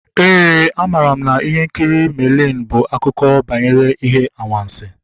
Éè, a mara m na ihe nkiri Merlin bụ akụkọ banyere ihe anwansi